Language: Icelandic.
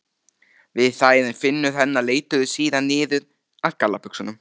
við þær en fingur hennar leituðu síðan niður að gallabuxunum.